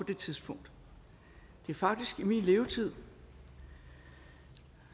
det tidspunkt det er faktisk i min levetid